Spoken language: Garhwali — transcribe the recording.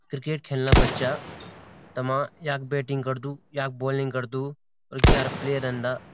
क्रिकेट खेलना बच्चा तमा याक बैटिंग करदू याक बोलिंग करदू और ग्यारा प्लेयर रेंदा।